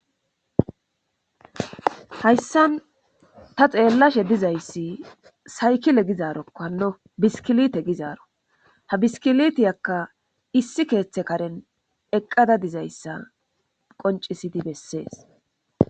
Hayssan ta xeellashe dizayssi saykile gizaarokkanno biskilite gizaaro ha biskilitiyakka issi keeththe karen eqqada dizayssa qoncisidi bessees